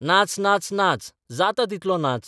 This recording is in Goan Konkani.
नाच नाच नाच जाता तितलो नाच.